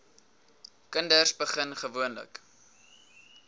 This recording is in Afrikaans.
kinders begin gewoonlik